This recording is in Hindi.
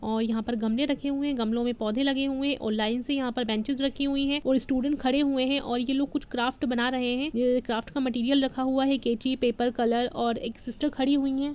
और यहाँ पर गमले रखे हुए है गमलो में पौधे लगे हुए है और लाइंस से यहाँ पर बेन्चिस रखे हुए है और स्टूडेंट खड़े हुए हैं ये लोग कुछ क्राफ्ट बना रहे हैं ये क्राफ्ट का मटेरियल रखा हुआ है कैंची पेपर कलर और एक सिस्टर खड़ी हुई है।